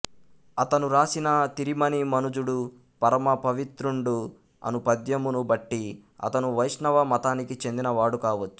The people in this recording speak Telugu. అతను రాసిన తిరిమణి మనుజుడు పరమ పవిత్రుండు అను పద్యమును బట్టి అతను వైష్ణవ మతానికి చెందిన వాడు కావచ్చు